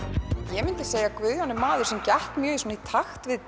ég myndi segja að Guðjón sé maður sem gekk mjög í takt við